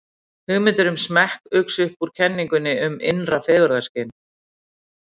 hugmyndir um smekk uxu upp úr kenningum um innra fegurðarskyn